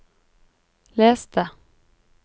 les det